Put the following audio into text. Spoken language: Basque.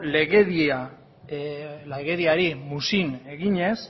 legediari muzin eginez